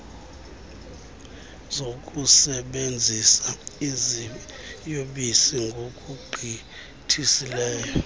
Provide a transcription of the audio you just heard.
zokusebenzisa iziyobisi ngokugqithisileyo